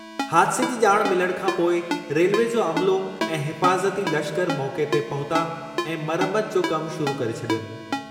हादिसे जी ॼाण मिलण खां पोइ रेलवे जो अमिलो ऐं हिफ़ाज़ती लश्करु मौक़े ते पहुता ऐं मरमतु जो कमु शुरु करे छडीयनि।